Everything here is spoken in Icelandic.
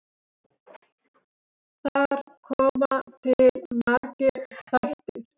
Þar koma til margir þættir.